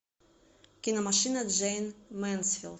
кино машина джейн мэнсфилд